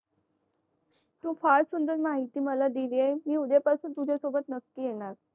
तू खास सुंदर माहिती मला दिलीस मी उद्या तुझा सोबत नकी येणार